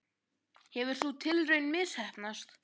Hefur sú tilraun misheppnast?